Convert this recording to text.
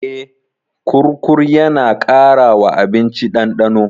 Eh, kurkur yana ƙara wa abinci ɗandano.